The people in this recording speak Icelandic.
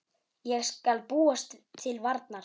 Ég skal búast til varnar.